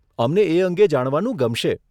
અમને એ અંગે જાણવાનું ગમશે.